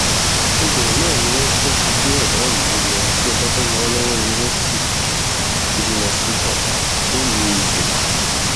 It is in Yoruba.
ibẹ náà ni wọn ti tún gbé bàbá yìí lọ sí ọbáfẹmi awolowo university teaching hospital nílùú ife